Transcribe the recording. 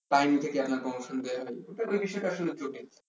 তাই দেখে আপনার promotion দেওয়া হবে এটা আসলে বিষয় টা জটিল